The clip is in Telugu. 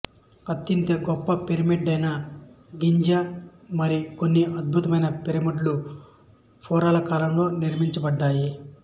అత్యంత గొప్ప పిరమిడ్ అయిన గిజా మరి కొన్ని అత్యద్భుత పిరమిడ్లు ఫారోల కాలంలో నిర్మింపబడ్డాయి